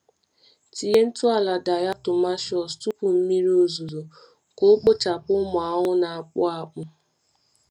Tinye ntụ ala diatomaceous tupu mmiri ozuzo ka o kpochaa ụmụ ahụhụ na-akpụ akpụ.